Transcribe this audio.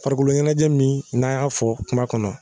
Farikoloɲɛnɛjɛ min n'an y'a fɔ kuma kɔnɔ